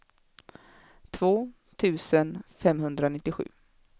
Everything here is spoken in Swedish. två tusen femhundranittiosju